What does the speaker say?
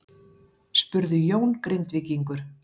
spurði Jón Grindvíkingur.